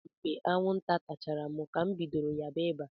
Ọ bụ mgbe anwụnta tachara m ka m bidoro ya ba ịba.